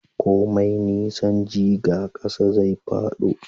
komai nisan jiga, ƙasa zai fado